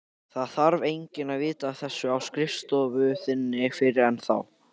Það þarf enginn að vita af þessu á skrifstofu þinni fyrr en þá.